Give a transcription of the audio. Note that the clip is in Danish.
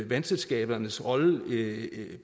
vandselskabernes rolle